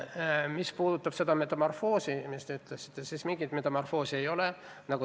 Mis puutub metamorfoosi, millele te viitasite, siis mingit metamorfoosi ei ole.